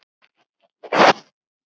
Hennar hluti.